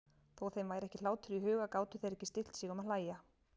Þó þeim væri ekki hlátur í huga gátu þeir ekki stillt sig um að hlæja.